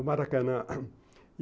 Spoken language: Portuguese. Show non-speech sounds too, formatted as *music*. O Maracanã *coughs*